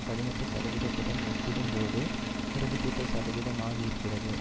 பதினெட்டு சதவீதத்துடன் ஒப்பிடும்போது இருபத்தி எட்டு சதவீதமாகியிருக்கிறது